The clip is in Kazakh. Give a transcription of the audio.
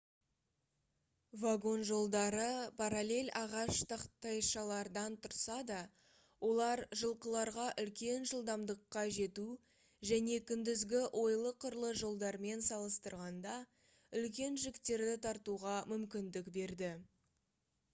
вагон жолдары параллель ағаш тақтайшалардан тұрса да олар жылқыларға үлкен жылдамдыққа жету және күндізгі ойлы-қырлы жолдармен салыстырғанда үлкен жүктерді тартуға мүмкіндік берді